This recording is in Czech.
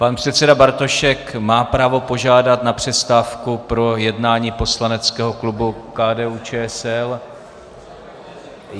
Pan předseda Bartošek má právo požádat na přestávku pro jednání poslaneckého klubu KDU-ČSL.